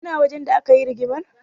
Kana wajen da aka yi rigimar?